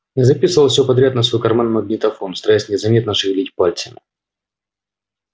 я записывал всё подряд на свой карманный магнитофон стараясь незаметно шевелить пальцами